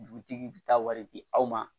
Dugutigi bi taa wari di aw ma